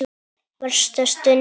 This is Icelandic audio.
Versta stundin?